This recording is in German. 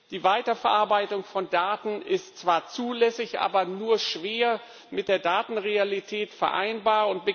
Die Weiterverarbeitung von Daten ist zwar zulässig, aber nur schwer mit der Datenrealität vereinbar.